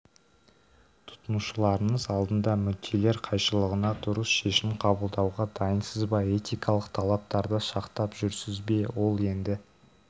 тұтынушыларыңыз алдында мүдделер қайшылығына дұрыс шешм қабылдауға дайынсыз ба этикалық талаптарды сақтап жүрсіз бе ол енді